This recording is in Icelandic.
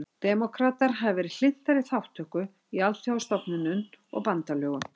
Demókratar hafa verið hlynntari þátttöku í alþjóðastofnunum og bandalögum.